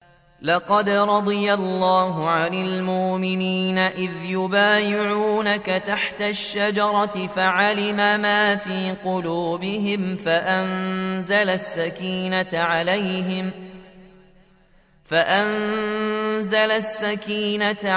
۞ لَّقَدْ رَضِيَ اللَّهُ عَنِ الْمُؤْمِنِينَ إِذْ يُبَايِعُونَكَ تَحْتَ الشَّجَرَةِ فَعَلِمَ مَا فِي قُلُوبِهِمْ فَأَنزَلَ السَّكِينَةَ